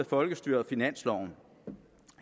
folkestyret og finansloven